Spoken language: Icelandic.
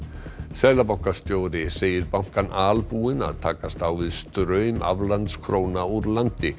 seðlabankastjóri segir bankann albúinn að takast á við straum aflandskróna úr landi